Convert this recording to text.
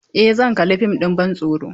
Eh zan kalla fim ɗin bantsoro.